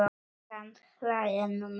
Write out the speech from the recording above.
Samt hlæja nú menn.